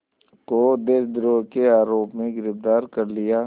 को देशद्रोह के आरोप में गिरफ़्तार कर लिया